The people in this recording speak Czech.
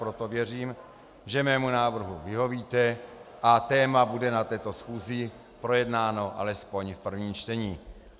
Proto věřím, že mému návrhu vyhovíte a téma bude na této schůzi projednáno alespoň v prvním čtení.